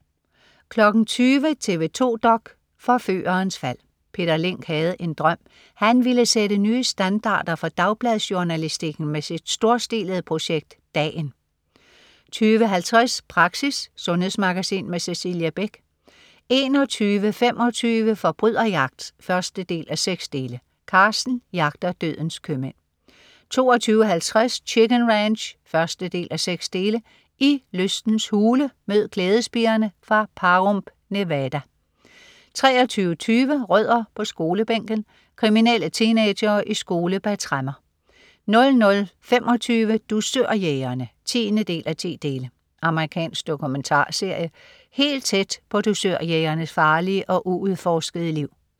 20.00 TV 2 dok.: Forførerens fald. Peter Linck havde en drøm. Han ville sætte nye standarder for dagbladsjournalistikken med sit storstilede projekt, "Dagen" 20.50 Praxis. Sundhedsmagasin Cecilie Beck 21.25 Forbryderjagt 1:6. Carsten jagter dødens købmænd 22.50 Chicken Ranch 1:6. I lystens hule. Mød glædespigerne fra Pahrump, Nevada 23.20 Rødder på skolebænken. Kriminelle teenagere i skole bag tremmer 00.25 Dusørjægerne 10:10. Amerikansk dokumentarserie. Helt tæt på dusørjægernes farlige og uudforskede liv